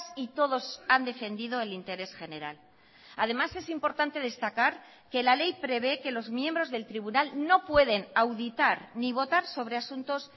y todos han defendido el interés general además es importante destacar que la ley prevé que los miembros del tribunal no pueden auditar ni votar sobre asuntos